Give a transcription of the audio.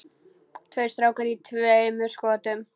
Tveir strákar í tveimur skotum.